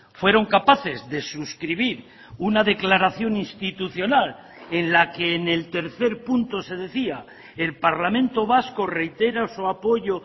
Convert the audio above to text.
fueron capaces de suscribir una declaración institucional en la que en el tercer punto se decía el parlamento vasco reitera su apoyo